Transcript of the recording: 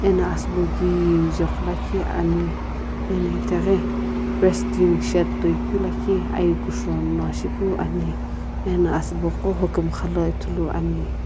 ena asubo kijequ lakhi ani eno itaghi resting shade toikeu lakhi aiyi kusho no shipu ani eno asubo qo hokumxa la ithuluani.